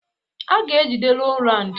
A ga-ejide Rowland.